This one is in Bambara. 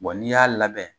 n'i y'a labɛn